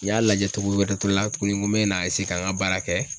N y'a lajɛ togo wɛrɛ to la tuguni n ko me na ka n ka baara kɛ